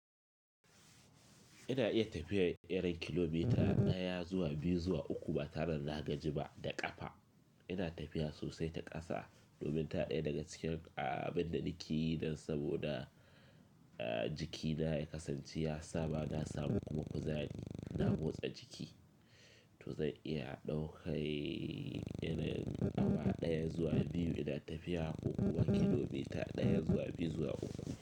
Ina iya tafiya irin kilomita daya zuwa biyu zuwa uku ba tare da na gaji ba da kafa. Ina tafiya sosai ta ƙasa domin ta ɗaya daga cikin abin da nake yi nan saboda jikina ya kasance ya saba na samu kuma kuzari na motsa jiki, to zan iya ɗaukar irin nawa ɗaya zuwa biyu ina tafiya ko kuwa kilomita ɗaya zuwa biyu zuwa uku.